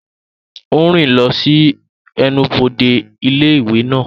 Ó ń rìn lọ sí ẹnubodè ilé ìwé náà.